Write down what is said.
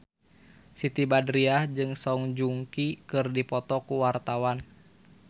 Siti Badriah jeung Song Joong Ki keur dipoto ku wartawan